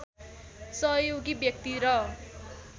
सहयोगी व्यक्ति र